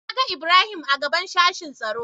Na ga Ibrahim a gaɓan sashin tsaro.